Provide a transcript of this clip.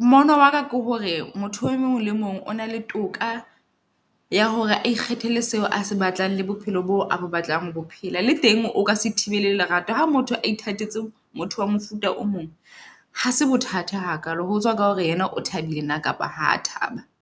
Mmono waka ke hore motho o mong le mong o na le toka ya hore a ikgethele seo a se batlang le bophelo boo abo batlang ho bophelo. Le teng o ka se thibile lerato ha motho a ithatetse motho wa mofuta o mong hase bothata hakalo. Ho tswa ka hore yena o thabile nna kapa ha thaba.